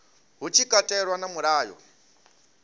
hu tshi katelwa na mulayo